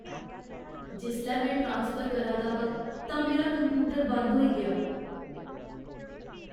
जिसलै में ट्रासफर करा दा हा तां मेरा कंप्यूटर बंद होई गेआ।